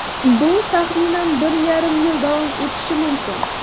Bu taxminan bir yarim yil davom etishi mumkin.